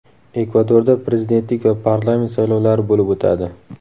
Ekvadorda prezidentlik va parlament saylovlari bo‘lib o‘tadi.